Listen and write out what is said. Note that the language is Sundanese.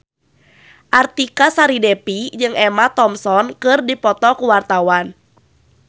Artika Sari Devi jeung Emma Thompson keur dipoto ku wartawan